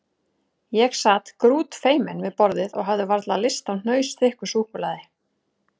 Ég sat grútfeiminn við borðið og hafði varla lyst á hnausþykku súkkulaði.